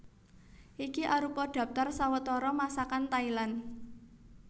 Iki arupa dhaptar sawetara Masakan Thailand